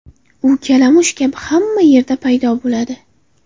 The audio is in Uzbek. U kalamush kabi hamma yerda paydo bo‘ladi.